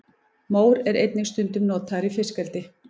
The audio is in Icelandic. mór er einnig stundum notaður í fiskeldi